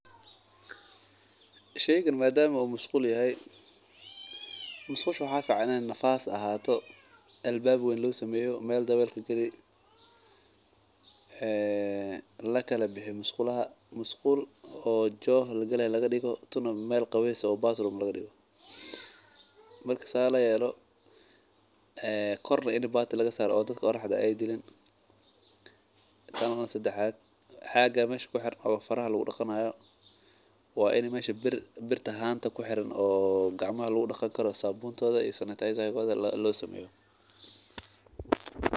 Sheygan madama u mashqul yahay mashqusha in ee nafas ahato meel dawel kagali lakala biyo masqulaha joh lagalayo laga digo tuna meel lagu qawesanayo oo bathroom laga digo ee dadka oraxda ee dilin waa ini mesha gacmaha lagu daqanayo sabuntodha lo sameyo.